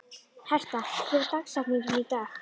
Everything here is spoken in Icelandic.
Herta, hver er dagsetningin í dag?